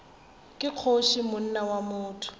ke kgoši monna wa botho